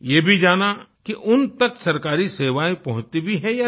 ये भी जाना कि उन तक सरकारी सेवाएँ पहुँचती भी हैं या नहीं